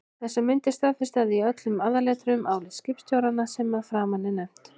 Þessar myndir staðfesta í öllum aðalatriðum álit skipstjóranna sem að framan er nefnt.